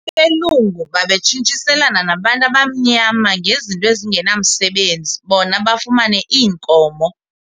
Abelungu babetshintshiselana nabantu abamnyama ngezinto ezingenamsebenzi bona bafumane iinkomo.